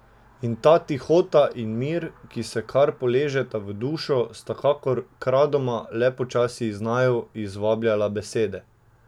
In ta tihota in mir, ki se kar poležeta v dušo, sta kakor kradoma, le počasi iz naju izvabljala besede.